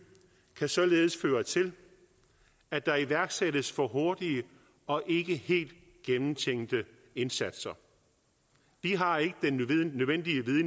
kan således føre til at der iværksættes for hurtige og ikke helt gennemtænkte indsatser vi har